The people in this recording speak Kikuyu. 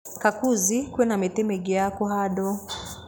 Kakuzi kwĩna mĩtĩ mĩingĩ ya kũhandwo.